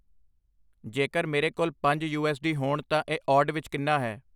ਜੇਕਰ ਮੇਰੇ ਕੋਲ ਪੰਜ ਯੂ. ਐੱਸ. ਡੀ. ਹੋਣ ਤਾਂ ਇਹ ਔਡ ਵਿੱਚ ਕਿੰਨਾ ਹੈ